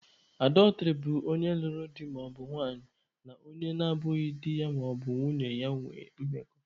Adọltrị bụ onye lụrụ di maọbụ nwanyị na onye na abụghị di ya maọbụ nwunye ya ịnwe mmekọ.